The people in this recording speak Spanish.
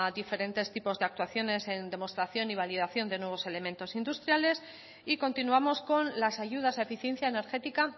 diferentes tipos de actuaciones en demostración y validación de nuevos elementos industriales y continuamos con las ayudas a eficiencia energética